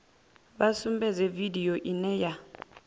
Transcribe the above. vha sumbedze vidio ine ya